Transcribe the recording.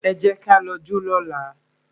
Ẹ jẹ́ ká lọ jó lọ́la